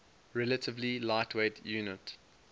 relatively lightweight unit